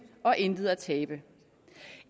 og intet at tabe